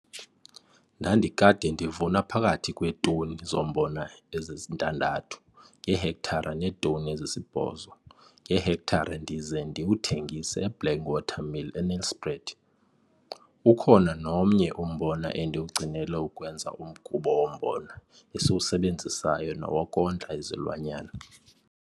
Ndandikade ndivuna phakathi kweetoni zombona ezi-6 ngehektare neetoni ezisi-8 ngehektare ndize ndiwuthengise eBlank Water Mill eNelspruit. Ukhona nomnye umbona endiwugcinela ukwenza umgubo wombona esiwusebenzisayo nowokondla izilwanyana.